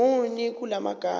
muni kula magama